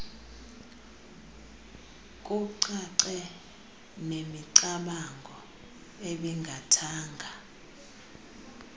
kucace nemicamango ebingathanga